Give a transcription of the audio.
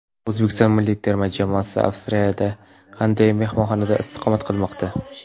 O‘zbekiston milliy terma jamoasi Avstriyada qanday mehmonxonada istiqomat qilmoqda?